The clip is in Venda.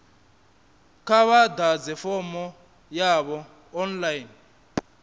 kha vha ḓadze fomo yavho online